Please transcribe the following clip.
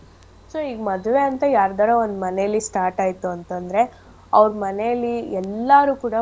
So ಈಗ್ ಮದ್ವೆ ಅಂತ ಯಾರ್ದಾರ ಒಂದ್ ಮನೇಲಿ start ಆಯ್ತು ಅಂತ್ ಅಂದ್ರೆ ಅವ್ರ್ ಮನೇಲಿ ಎಲ್ಲಾರು ಕೂಡ.